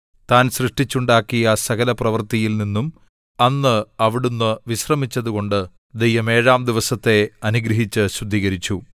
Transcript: താൻ സൃഷ്ടിച്ചുണ്ടാക്കിയ സകലപ്രവൃത്തിയിൽ നിന്നും അന്ന് അവിടുന്ന് വിശ്രമിച്ചതുകൊണ്ട് ദൈവം ഏഴാം ദിവസത്തെ അനുഗ്രഹിച്ചു ശുദ്ധീകരിച്ചു